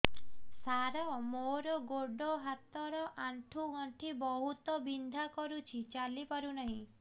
ସାର ମୋର ଗୋଡ ହାତ ର ଆଣ୍ଠୁ ଗଣ୍ଠି ବହୁତ ବିନ୍ଧା କରୁଛି ଚାଲି ପାରୁନାହିଁ